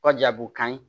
Kɔ jagokan ye